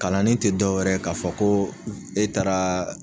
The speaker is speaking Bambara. Kalanden tɛ dɔ wɛrɛ ye k'a fɔ ko e taara